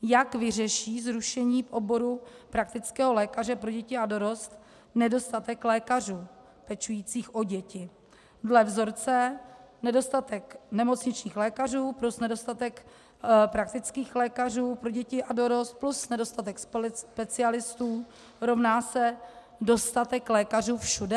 Jak vyřeší zrušení v oboru praktického lékaře pro děti a dorost nedostatek lékařů pečujících o děti dle vzorce nedostatek nemocničních lékařů plus nedostatek praktických lékařů pro děti a dorost plus nedostatek specialistů rovná se dostatek lékařů všude?